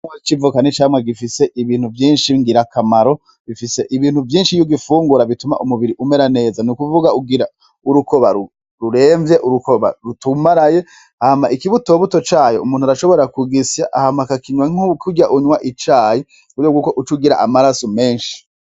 Igitegwa c'ivoka n'icamwa gifise ibintu vyinshi ngirakamaro bifise ibintu vyinshi iyo ugifungura bituma umubiri umera neza nukuvuga ugira urukoba ruremvye, urukoba rutumaraye hama ikibutobuto cayo umuntu arashobora kugisya hama akakinwa nkakurya unwa icayi muburyo bwuko ucugira amaraso menshi.